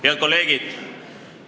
Head kolleegid!